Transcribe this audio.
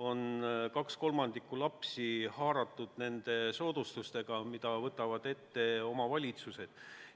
2/3 lapsi lasteaias nende soodustustega, mida võimaldavad omavalitsused.